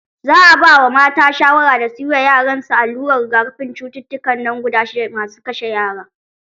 Za a ba mata shawara da suyi ma yaran su allurar rigakafin cututtukan nan guda shidda masu kashe yara.